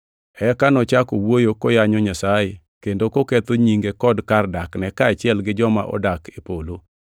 Eka nochako wuoyo koyanyo Nyasaye kendo koketho nyinge kod kar dakne, kaachiel gi joma odak e polo.